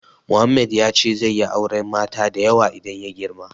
Mohammed ya ce zai yi auren mata da yawa idan ya girma.